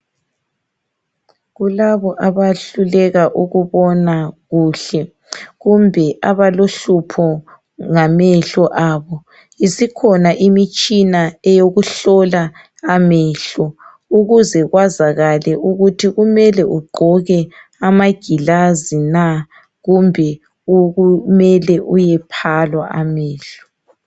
Kulabo abahluleka ukubona kuhle kumbe abalohlupho ngamehlo abo isikhona imitshina eyokuhlola amehlo ukuze kwazakala ukuthi kumele ugqoke amagilazi na kumbe kumele uyephalwa amehlo.